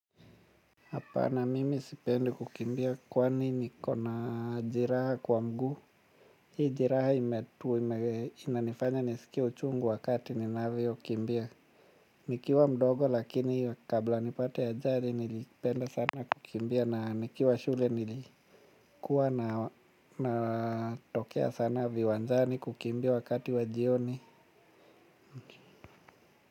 Hapana mimi sipendi kukimbia kwani niko na jeraha kwa mguu. Hii jeraha inanifanya nisikie uchungu wakati ninavyokimbia. Nikiwa mdogo lakini kabla nipate ajari nilipenda sana kukimbia na nikiwa shule nilikuwa na tokea sana viwanjani kukimbia wakati wa jioni.